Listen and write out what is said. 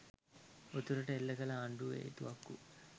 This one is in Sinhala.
උතුරට එල්ල කළ ආණ්ඩුවේ තුවක්කු